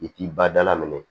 I k'i ba dala minɛ